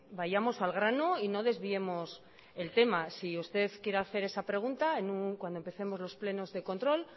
vayamos al grano y no desviemos el tema si usted quiere hacer esa pregunta cuando empecemos los plenos de control